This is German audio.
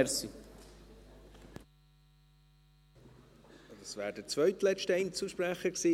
Das wäre der zweitletzte Einzelsprecher gewesen.